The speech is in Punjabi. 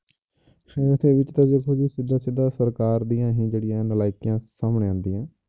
ਸਿੱਧਾ ਸਿੱਧਾ ਸਰਕਾਰ ਦੀਆਂ ਹੀ ਜਿਹੜੀਆਂ ਨਲਾਇਕੀਆਂ ਸਾਹਮਣੇ ਆਉਂਦੀਆਂ।